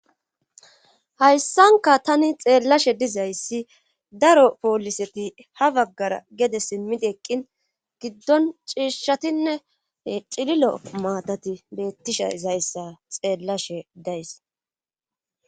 hayssanka tani xeellashe dizayssi daro pooliseti ha baggara gede simmidi eqqin giddon ciishatinne cililo maatati beettisha izayssa xeellashe days